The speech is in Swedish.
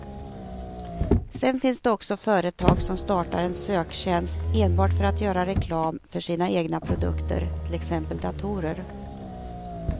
Sedan finns det också företag som startar en söktjänst enbart för att göra reklam för sina egna produkter, till exempel datorer.